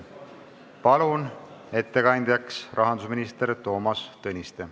Palun ettekandjaks rahandusminister Toomas Tõniste.